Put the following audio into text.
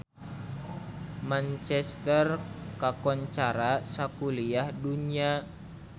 Manchester kakoncara sakuliah dunya